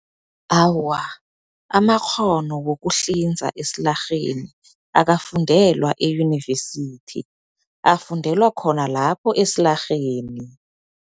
Awa, amakghono wokuhlinza esilarheni akafundelwa eyunivesithi, afundelwa khona lapho esilarheni.